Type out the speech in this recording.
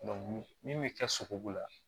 min bɛ kɛ sogobu la